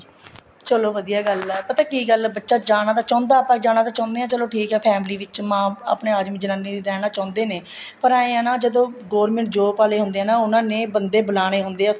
ਚਲੋ ਵਧੀਆ ਗੱਲ ਏ ਪਤਾ ਕੀ ਗੱਲ ਏ ਬੱਚਾ ਜਾਣਾ ਤਾਂ ਚਾਹੁੰਦਾ ਆਪਾਂ ਤਾਂ ਜਾਣਾ ਚਾਹੁੰਦੇ ਹਾਂ ਚਲੋ ਠੀਕ ਏ family ਵਿੱਚ ਮਾਂ ਆਪਣੇ ਆਦਮੀ ਜਨਾਨੀ ਵੀ ਰਹਿਣਾ ਚਾਹੁੰਦੇ ਨੇ ਪਰ ਏ ਨਾ ਜਦੋਂ government job ਆਲੇ ਹੁੰਦੇ ਹੈ ਨਾ ਉਹਨੇ ਨੇ ਬੰਦੇ ਬੁਲਾਣੇ ਹੁੰਦੇ ਏ